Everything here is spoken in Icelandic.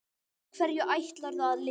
Á hverju ætlarðu að lifa?